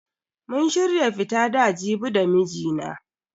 Mun shirya fita da Jibi da mijina.